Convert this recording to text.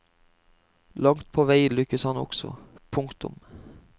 Langt på vei lykkes han også. punktum